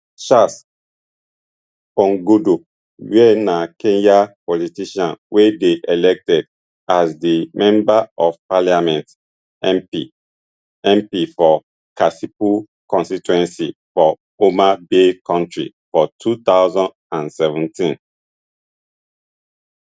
charles ongondo were na kenyan politician wey dey elected as di member of parliament mp mp for kasipul constituency for homa bay county for two thousand and seventeen